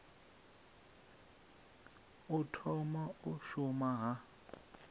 u thoma u shuma ha